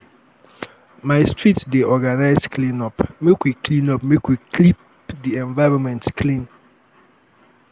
my street dey organize clean-up make we clean-up make we keep di environment clean.